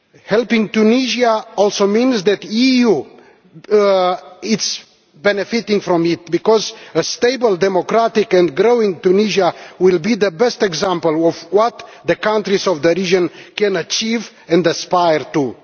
Helping Tunisia also means that the EU benefits, because a stable, democratic and growing Tunisia will be the best example of what the countries of the region can achieve and aspire to.